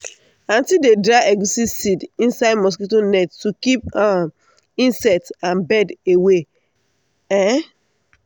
aunty dey dry egusi seeds inside mosquito net to keep um insect and bird away. um